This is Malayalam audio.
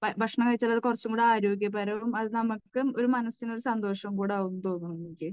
ഭക്ഷണം കഴിച്ചാൽ അത് കുറച്ചുകൂടി ആരോഗ്യപരവും അത് നമുക്ക് ഒരു മനസ്സിന് ഒരു സന്തോഷവും കൂടെ ആകും എന്നു തോന്നുന്നു എനിക്ക്.